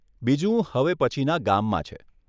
બીજું હવે પછીના ગામમાં છે.